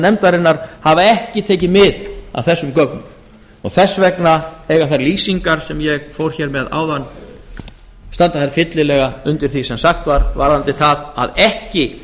nefndarinnar hafa ekki tekið mið af þessum gögnum og þess vegna eiga þær lýsingar sem ég fór hér með áðan standa þær fyllilega undir því sem sagt var varðandi það að ekki